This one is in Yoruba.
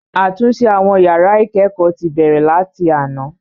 Àtúnṣe àwọn yàrá ìkẹ́kọ̀ọ́ ti bẹ̀rẹ̀ láti àná.